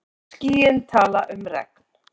Skýin tala um regn.